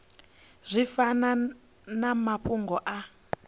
zwi fanaho na mafhungo a